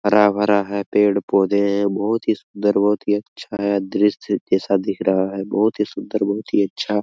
हरा-भरा है पेड़ पौधे है बहुत ही सुन्दर बहुत ही अच्छा है दृश्य जैसा दिख रहा है बहुत ही सुन्दर बहुत ही अच्छा--